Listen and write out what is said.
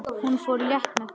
Hún fór létt með það.